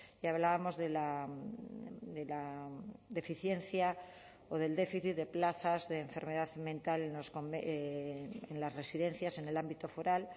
y hablábamos de la deficiencia o del déficit de plazas de enfermedad mental en las residencias en el ámbito foral